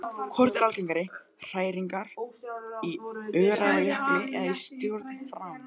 Hvort eru algengari hræringar, í Öræfajökli eða í stjórn Fram?